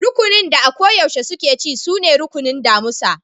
Rukunin da a ko yaushe suke ci sune rukunin damusa.